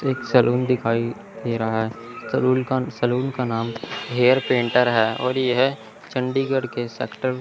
एक सैलून दिखाइ दे रहा सलूल का सलून का नाम हेयर पेंटर है और यह चंडीगढ़ के सेक्टर --